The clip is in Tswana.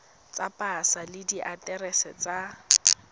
tsa pasa le diaterese tsa